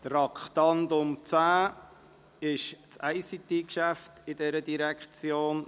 Beim Traktandum 10 handelt es sich um das ICT-Geschäft dieser Direktion.